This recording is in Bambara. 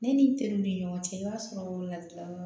Ne ni n teriw ni ɲɔgɔn cɛ i b'a sɔrɔ ladilikan yɔrɔ